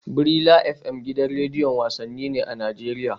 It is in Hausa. Brila FM gidan rediyon wasanni ne a Najeriya